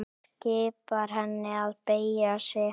Skipar henni að beygja sig.